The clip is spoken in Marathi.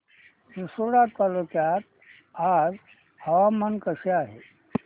रिसोड तालुक्यात आज हवामान कसे आहे